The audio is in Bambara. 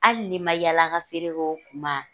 Hali n'i ma yaala ka feere k'o kuma,